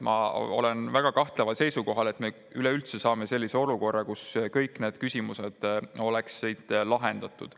Ma olen väga kahtleval seisukohal, et me üleüldse saame sellise olukorra, kus kõik need küsimused on lahendatud.